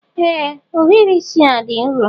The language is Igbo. Ee ohiri isi a dị nro